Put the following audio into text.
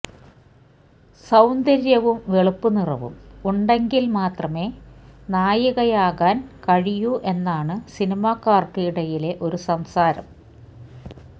സൌന്ദര്യവും വെളുപ്പ് നിറവും ഉണ്ടെങ്കില് മാത്രമേ നായികയാകാന് കഴിയൂ എന്നാണു സിനിമാക്കാര്ക്ക് ഇടയിലെ ഒരു സംസാരം